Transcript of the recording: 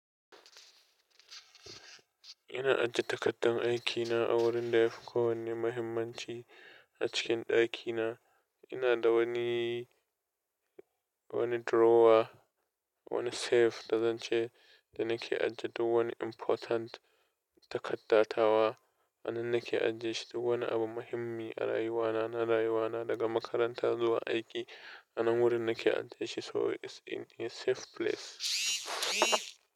Ina ajiye takardar aikina a wurin da yafi kowanne muhimmanci a cikin ɗakina. Ina da wani, wani drawer, wani safe da zan ce da nake ajiye duk wani important takarda tawa. Anan nake ajiye shi duk wani abu muhimmi a rayuwana, na rayuwana daga makaranta zuwa aiki. Anan wurin nake ajiye shi so it's in a safe place.